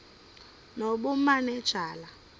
nobumanejala